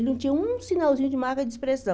Ele não tinha um sinalzinho de marca de expressão.